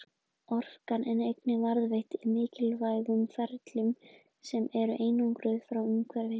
Orkan er einnig varðveitt í mikilvægum ferlum sem eru einangruð frá umhverfinu.